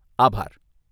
આભાર.